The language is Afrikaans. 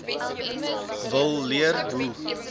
wil leer hoe